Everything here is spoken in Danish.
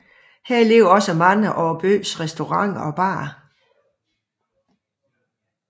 Her ligger også mange af byens restauranter og barer